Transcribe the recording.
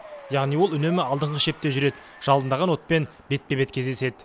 яғни ол үнемі алдыңғы шепте жүреді жалындаған отпен бетпе бет кездеседі